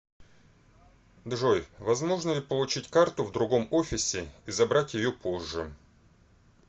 джой возможно ли получить карту в другом офисе и забрать ее позже